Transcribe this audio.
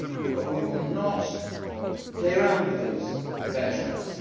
But we will not play around with those benchmarks.